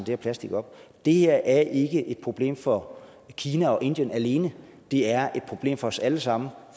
her plastik op det her er ikke et problem for kina og indien alene det er et problem for os alle sammen